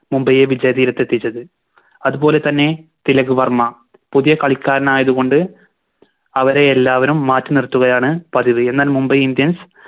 മുംബൈയെ വിജയ തീരത്ത് എത്തിച്ചത് അതുപോലെ തന്നെ തിലക് വർമ്മ പുതിയ കളിക്കാരനായത് കൊണ്ട് അവരെയെല്ലാവരും മാറ്റി നിർത്തുകയാണ് പതിവ് എന്നാൽ Mumbai indians